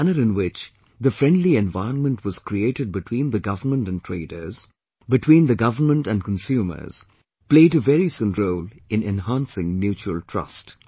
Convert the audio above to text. The manner in which the friendly environment was created between the Government and traders, between the government and consumers, played a very significant role in enhancing mutual trust